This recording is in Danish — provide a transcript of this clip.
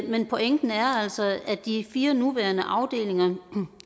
men pointen er altså at de fire nuværende afdelinger